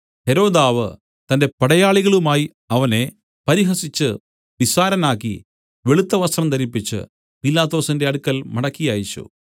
ഹെരോദാവ് തന്റെ പടയാളികളുമായി അവനെ പരിഹസിച്ചു നിസ്സാരനാക്കി വെളുത്ത വസ്ത്രം ധരിപ്പിച്ച് പീലാത്തോസിന്റെ അടുക്കൽ മടക്കി അയച്ചു